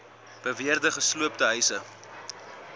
beweerde gesloopte huise